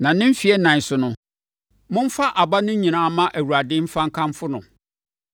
Na ne mfeɛ ɛnan so no, momfa aba no nyinaa mma Awurade mfa nkamfo no.